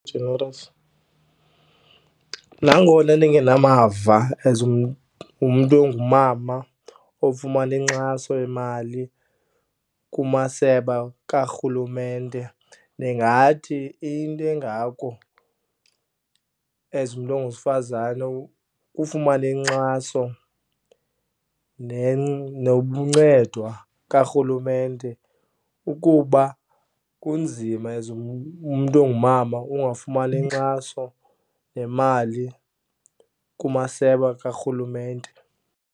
Nangona ndingenamava as umntu ongumama ofumana inkxaso yemali kumasebe karhulumente, ndingathi into engako as umntu onguwesifazane kufumana inkxaso noncedwa karhulumente ukuba kunzima as umntu ongumama ungafumani nkxaso nemali kumasebe karhulumente.